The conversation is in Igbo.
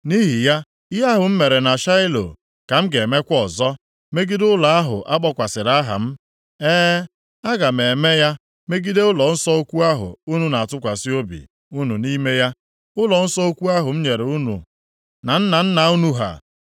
Nʼihi ya, ihe ahụ m mere na Shaịlo ka m ga-emekwa ọzọ megide ụlọ ahụ a kpọkwasịrị aha m. E, aga m eme ya megide ụlọnsọ ukwu ahụ unu na-atụkwasị obi unu nʼime ya, ụlọnsọ ukwu ahụ m nyere unu na nna nna unu ha.